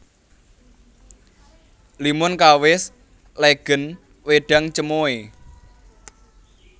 Limun kawis legèn wédang cemoè